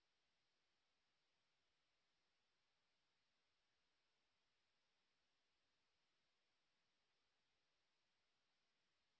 ৩ সারি এবং 2 কলাম বিশিষ্ট একটি টেবিল যুক্ত করুন